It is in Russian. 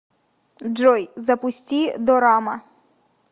джой запусти дорама